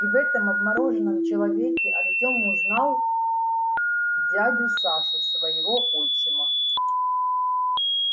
и в этом обмороженном человеке артём узнал дядю сашу своего отчима